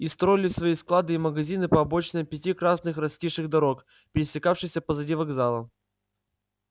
и строили свои склады и магазины по обочинам пяти красных раскисших дорог пересекавшихся позади вокзала